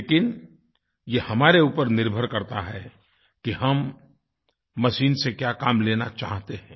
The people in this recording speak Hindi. लेकिन यह हमारे ऊपर निर्भर करता है कि हम मशीन से क्या काम लेना चाहते हैं